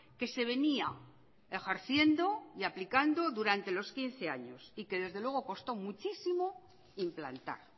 que se venía ejerciendo y aplicando durante los quince años y que desde luego costó muchísimo implantar